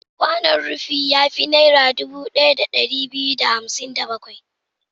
Kwanon rufi ya fi Naira dubu ɗaya da ɗari biyu da hamsin da bakwai.